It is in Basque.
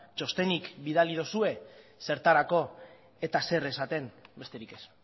txostenik bidali duzue zertarako eta zer esaten besterik ez